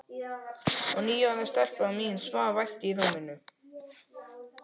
Og níu ára stelpan mín svaf vært í rúminu.